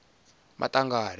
maṱangari